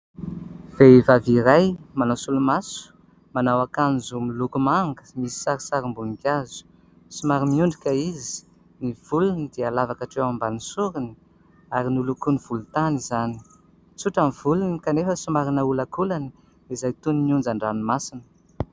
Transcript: Vehivavy iray, manao solomaso, manao akanjo miloko manga misy sarisarim-boninkazo. Somary miondrika izy. Ny volony dia lava katreo ambany soriny ary nolokony volon-tany izany. Tsotra ny volony kanefa somary naolankolany izay toy ny onjan-dranomasina.